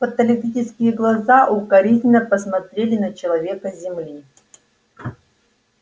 фотоэлектрические глаза укоризненно посмотрели на человека с земли